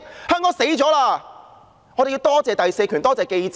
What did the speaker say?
因此，我們要多謝第四權，多謝記者。